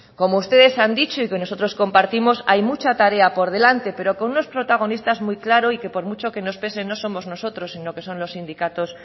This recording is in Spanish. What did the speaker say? como ustedes han dicho y que nosotros compartimos hay mucha tarea por delante pero con unos protagonistas muy claros y que por mucho que nos pese no somos nosotros sino que son los sindicatos